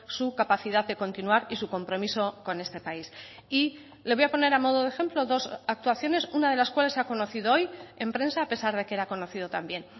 su capacidad de continuar y su compromiso con este país y le voy a poner a modo de ejemplo dos actuaciones una de las cuales se ha conocido hoy en prensa a pesar de que era conocido también